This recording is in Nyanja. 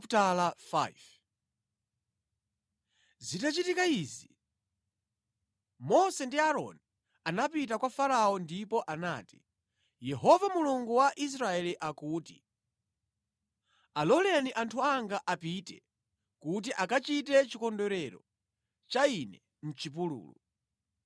Zitachitika izi, Mose ndi Aaroni anapita kwa Farao ndipo anati, “Yehova Mulungu wa Israeli akuti, ‘Aloleni anthu anga apite, kuti akachite chikondwerero cha Ine mʼchipululu.’ ”